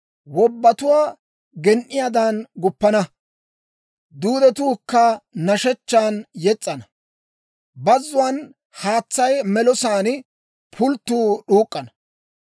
Wobbatuwaa gen"iyaadan guppana; duudetuukka nashshechchan yes's'ana; bazzuwaan haatsay melosaan pulttuu d'uuk'k'ana.